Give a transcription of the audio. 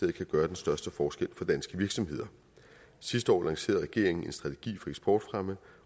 kan gøre den største forskel for danske virksomheder sidste år lancerede regeringen en strategi for eksportfremme